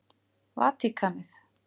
Vatíkanið